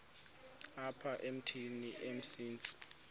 apha emithini umsintsi